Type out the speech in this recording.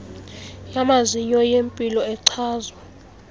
yamazinyo yempilo echazwa